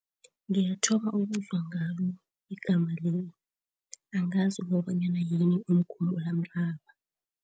Ngiyathoma ukuzwa ngalo igama leli, angazi kobanyana yini umkhumulamraba.